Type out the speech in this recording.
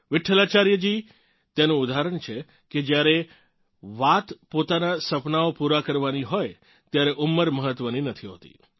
વિઠ્ઠલાચાર્યજી તેનું ઉદાહરણ છે કે જ્યારે વાત પોતાનાં સપનાંઓ પૂરા કરવાની હોય ત્યારે ઉંમર મહત્વની નથી હોતી